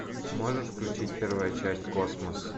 можешь включить первая часть космос